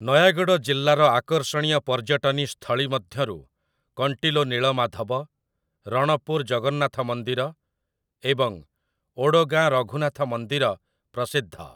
ନୟାଗଡ଼ ଜିଲ୍ଲାର ଆକର୍ଷଣୀୟ ପର୍ଯ୍ୟଟନୀ ସ୍ଥଳୀ ମଧ୍ୟରୁ କଣ୍ଟିଲୋ ନୀଳମାଧବ, ରଣପୁର ଜଗନ୍ନାଥ ମନ୍ଦିର, ଏବଂ ଓଡ଼ଗାଁ ରଘୁନାଥ ମନ୍ଦିର ପ୍ରସିଦ୍ଧ ।